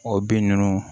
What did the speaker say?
O bin ninnu